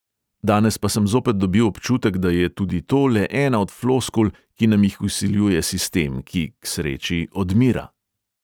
Danes pa sem zopet dobil občutek, da je tudi to le ena od floskul, ki nam jih vsiljuje sistem, ki (k sreči) odmira.